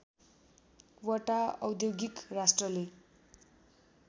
वटा औद्योगिक राष्ट्रले